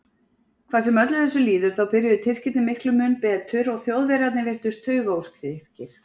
Hvað sem öllu þessu líður þá byrjuðu Tyrkirnir miklu mun betur og Þjóðverjarnir virtust taugaóstyrkir.